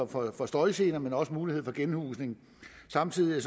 for for støjgener men også en mulighed for genhusning samtidig